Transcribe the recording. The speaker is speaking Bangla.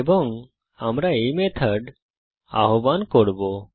এবং আমরা এই মেথড আহবান করব